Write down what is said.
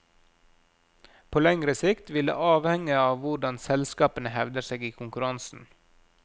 På lengre sikt vil det avhenge av hvordan selskapene hevder seg i konkurransen.